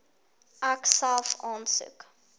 ek self aansoek